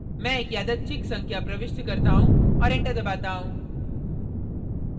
मैं एक यादृच्छिक संख्या प्रविष्ट करता हूँ औऱ enter दबाता हूँ